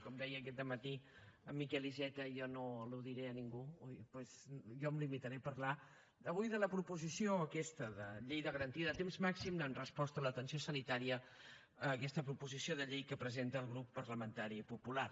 com deia aquest dematí en miquel iceta jo no ho diré a ningú doncs jo em limitaré a parlar avui de la proposició aquesta de llei de garantia del temps màxim de resposta en l’atenció sanitària aquesta proposició de llei que presenta el grup parlamentari popular